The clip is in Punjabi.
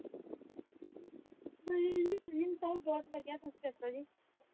ਸੱਬ ਬਹੁਤ ਵਧਿਆ, ਤੁਸੀਂ ਦਸੋ ਜੀ